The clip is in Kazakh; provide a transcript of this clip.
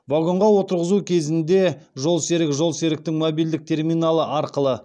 вагонға отырғызу кезінде жолсерік жолсеріктің мобильдік терминалы арқылы